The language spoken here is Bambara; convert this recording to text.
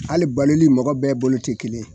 Hali baloli mɔgɔ bɛɛ bolo tɛ kelen ye.